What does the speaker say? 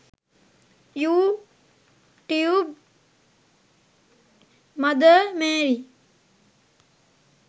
you tube mother Mary